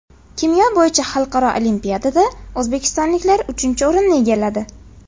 Kimyo bo‘yicha xalqaro olimpiadada o‘zbekistonliklar uchinchi o‘rinni egalladi.